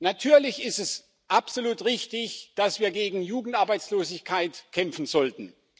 Natürlich ist es absolut richtig, dass wir gegen Jugendarbeitslosigkeit kämpfen sollten.